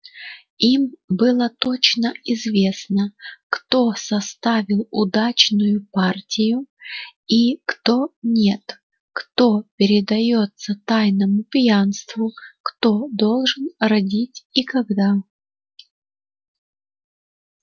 им было точно известно кто составил удачную партию и кто нет кто предаётся тайному пьянству кто должен родить и когда